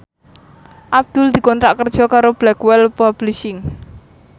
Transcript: Abdul dikontrak kerja karo Blackwell Publishing